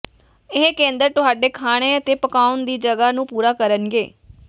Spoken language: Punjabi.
ਇਹ ਕੇਂਦਰ ਤੁਹਾਡੇ ਖਾਣੇ ਅਤੇ ਪਕਾਉਣ ਦੀ ਜਗ੍ਹਾ ਨੂੰ ਪੂਰਾ ਕਰਨਗੇ